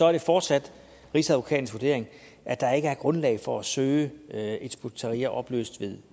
er det fortsat rigsadvokatens vurdering at der ikke er grundlag for at søge hizb ut tahrir opløst